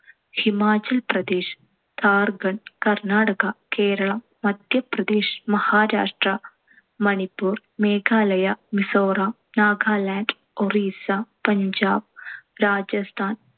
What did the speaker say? Himachal Pradesh, Jharkhand, Karnataka, Keralam, Madhya Pradesh, Maharashtra, Manipur, Meghalaya, Mizoram, Nagaland, Orissa, Punjab, Rajasthan,